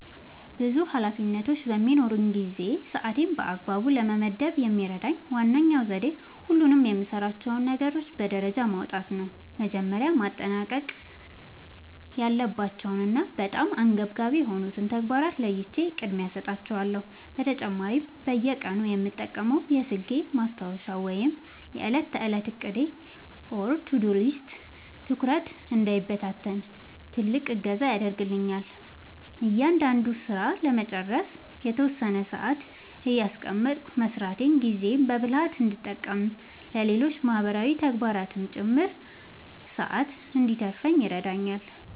ብዙ ኃላፊነቶች በሚኖሩኝ ጊዜ ሰዓቴን በአግባቡ ለመመደብ የሚረዳኝ ዋነኛው ዘዴ ሁሉንም የምሠራቸውን ነገሮች በደረጃ ማውጣት ነው። መጀመሪያ ማጠናቀቅ ያለባቸውንና በጣም አንገብጋቢ የሆኑትን ተግባራት ለይቼ ቅድሚያ እሰጣቸዋለሁ። በተጨማሪም በየቀኑ የምጠቀመው የስልኬ ማስታወሻ ወይም የዕለት ተዕለት ዕቅድ (To-Do List) ትኩረቴ እንዳይበታተን ትልቅ እገዛ ያደርግልኛል። እያንዳንዱን ሥራ ለመጨረስ የተወሰነ ሰዓት እያስቀመጥኩ መሥራቴ ጊዜዬን በብልሃት እንድጠቀምና ለሌሎች ማህበራዊ ተግባራትም ጭምር ሰዓት እንድተርፈኝ ይረዳኛል።